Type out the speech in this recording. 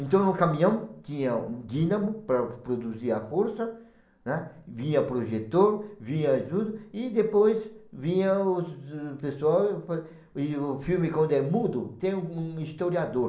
Então no caminhão tinha um dínamo para produzir a força, né, vinha projetor, vinha ajuda, e depois vinha o pessoal, e o filme quando é mudo tem um historiador.